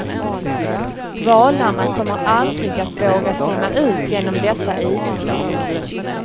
Valarna kommer aldrig att våga simma ut genom dessa isflak.